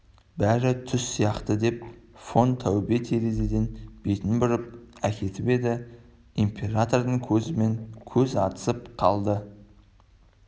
бәрі түс сияқты деп фон таубе терезеден бетін бұрып әкетіп еді императордың көзімен көз атысып қалды